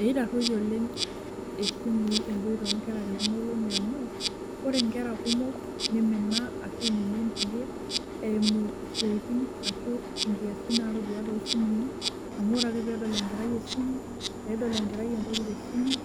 Ee itaruitie esimui nkoitoi onkera tekuna olongi amu , ore nkera kumok nimina ashu iminie nkulie eimu isiatin ashu nkiasin natadua tosimui , amu ore ake pedol enkerai esimu , pedol enkerai entoki tesimu